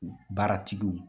Baaratigiw